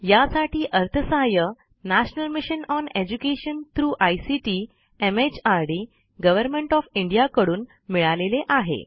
यासाठी अर्थसहाय्य national mission on education through ICT MHRD government of India कडून मिळालेले आहे